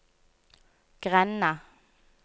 grenda